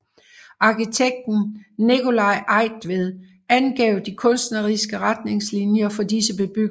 Arkitekten Nicolai Eigtved angav de kunstneriske retningslinjer for disse bebyggelser